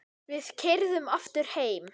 Við keyrðum aftur heim.